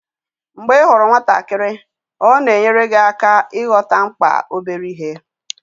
Mgbe ị hụrụ nwatakịrị, ọ na-enyere gị aka ịghọta mkpa obere ihe.